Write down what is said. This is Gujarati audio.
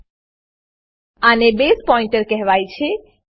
આને બસે પોઇન્ટર બેઝ પોઇન્ટર કહેવાય છે